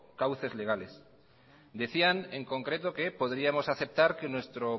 cauces legales decían en concreto que podríamos aceptar que nuestro